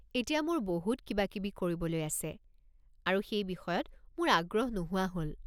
এতিয়া মোৰ বহুত কিবাকিবি কৰিবলৈ আছে আৰু সেই বিষয়ত মোৰ আগ্ৰহ নোহোৱা হ'ল।